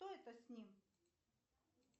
что это с ним